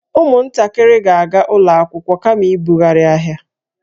Ụmụntakịrị ga-aga ụlọ akwụkwọ kama ịbughari ahịa